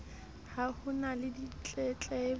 ha ho na le ditletlebo